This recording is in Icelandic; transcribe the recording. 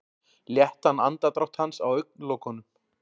Léttan andardrátt hans á augnalokunum.